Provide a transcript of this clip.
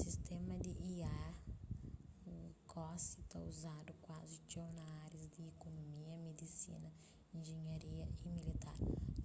sistéma di ia gosi ta uzadu kuazi txeu na árias di ikonumia midisina injinharia y militar